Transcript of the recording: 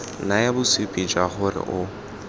naya bosupi jwa gore o